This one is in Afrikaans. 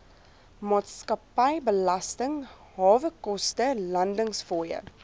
maatskappybelasting hawekoste landingsfooie